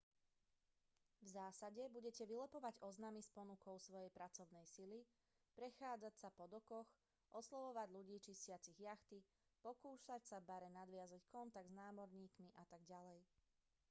v zásade budete vylepovať oznamy s ponukou svojej pracovnej sily prechádzať sa po dokoch oslovovať ľudí čistiacich jachty pokúšať sa v bare nadviazať kontakt s námorníkmi atď